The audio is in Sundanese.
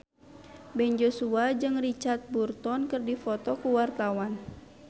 Ben Joshua jeung Richard Burton keur dipoto ku wartawan